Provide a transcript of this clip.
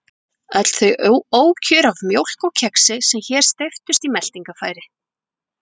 Öll þau ókjör af mjólk og kexi sem hér steyptust í meltingarfæri.